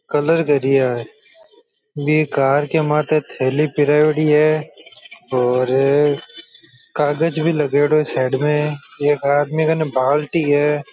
Colour करिया है बे कार के माथे थैली पिरायेडी है और कागज भी लगयेड़ो है साइड में एक आदमी कने बाल्टी है।